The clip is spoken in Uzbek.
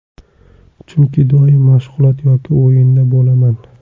Chunki doim mashg‘ulot yoki o‘yinda bo‘laman.